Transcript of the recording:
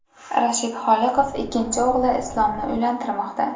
Rashid Holiqov ikkinchi o‘g‘li Islomni uylantirmoqda.